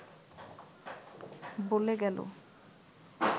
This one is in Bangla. ব’লে গেল